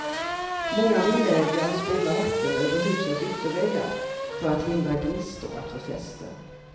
Många villaägare spolar vatten över husens ytterväggar för att hindra gnistor att få fäste.